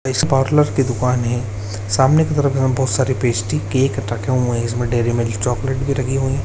इस पार्लर की दुकान है सामने की तरफ यहाँ बहोत सारी पेस्ट्री केक रखे हुए हैं इसमें डेरी मिल्क चॉकलेट भी रखी हुई है।